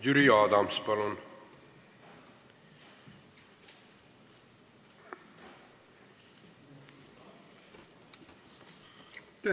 Jüri Adams, palun!